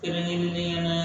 Kɛrɛnkɛrɛnnenya la